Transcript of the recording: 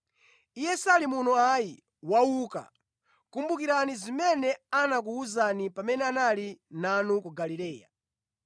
Iye sali muno ayi. Wauka! Kumbukirani zimene anakuwuzani pamene anali nanu ku Galileya: